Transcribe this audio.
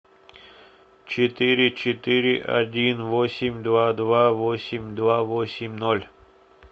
четыре четыре один восемь два два восемь два восемь ноль